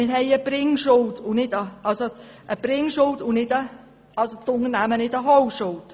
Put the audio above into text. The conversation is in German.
Wir haben eine Bringschuld und nicht die Unternehmen eine Holschuld.